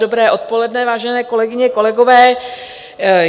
Dobré odpoledne, vážené kolegyně, kolegové.